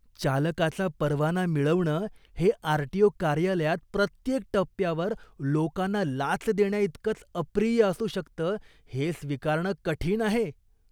चालकाचा परवाना मिळवणं हे आरटीओ कार्यालयात प्रत्येक टप्प्यावर लोकांना लाच देण्याइतकंच अप्रिय असू शकतं हे स्वीकारणं कठीण आहे.